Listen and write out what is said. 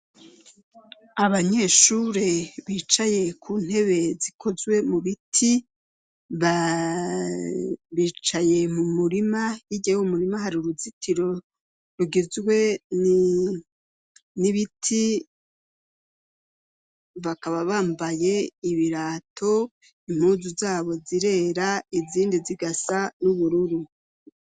Abanyeshure bicaye ku ntebe zikozwe mu biti bicaye mu murima. Hirya y'uwo murima hari uruzitiro rugizwe n'ibiti. Bakaba bambaye ibirato, impuzu zabo zirera izindi zigasa n'ubururu